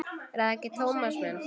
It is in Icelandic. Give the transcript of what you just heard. Er það ekki, Tómas minn?